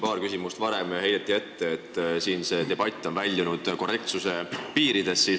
Paar küsimust varem heideti ette, et see debatt on väljunud korrektsuse piiridest.